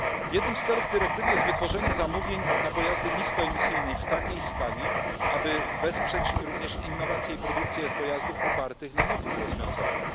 Jednym z celów dyrektywy jest wytworzenie zamówień na pojazdy niskoemisyjne w takiej skali, aby wesprzeć również innowacje i produkcję pojazdów opartych na nowych rozwiązaniach.